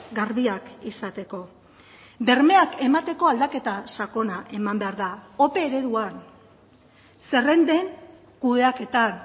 garbiak izateko bermeak emateko aldaketa sakona eman behar da ope ereduan zerrenden kudeaketan